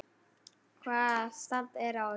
Hvaða stand er á ykkur?